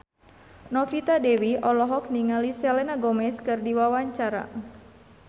Novita Dewi olohok ningali Selena Gomez keur diwawancara